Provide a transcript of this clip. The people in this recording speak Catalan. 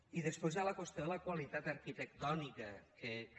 i després hi ha la qüestió de la qualitat arquitectònica que és